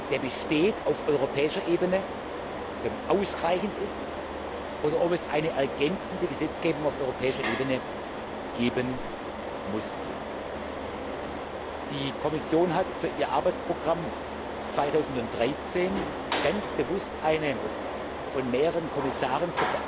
der auf europäischer Ebene besteht, ausreichend ist oder ob es eine ergänzende Gesetzgebung auf europäischer Ebene geben muss. Die Kommission hat in ihr Arbeitsprogramm 2013 ganz bewusst eine von mehreren Kommissaren